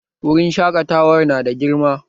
Wurin shaƙatawar nada girma